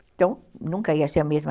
Então, nunca ia ser a mesma...